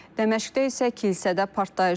Dəməşqdə isə kilsədə partlayış olub.